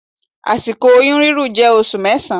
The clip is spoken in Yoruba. Àsìkò oyún rírùn jẹ́ oṣù mẹsan.